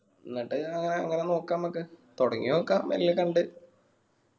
എന്നിട്ട് അങ്ങനെ അങ്ങനെ നോക്ക അമ്മക്ക് തൊടങ്ങി നോക്ക മെല്ലെ കണ്ട്